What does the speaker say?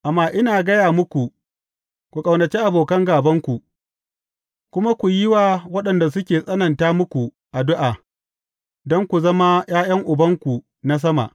Amma ina gaya muku, ku ƙaunaci abokan gābanku kuma ku yi wa waɗanda suke tsananta muku addu’a, don ku zama ’ya’yan Ubanku na sama.